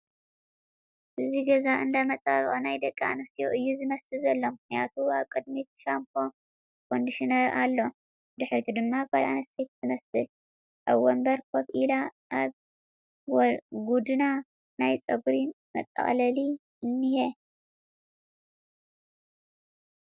እዚ ገዛ እንዳ መፀባበቒ ናይ ደቒ ኣነስገገትረዩ እዩ ዝመስል ዘሎ፡ ምኽንያቱም ኣብ ቕድሚት ሻምፖ ኮንድሽነር ኣሎ ፡ ብድሕሪት ድማ ጓል ኣነስተይቲ ትመስል ኣብ ወንበር ከፍ ኢላ ኣብ ጉድና ናይ ፀጉሪ መጠቕለሊ እንሄ ።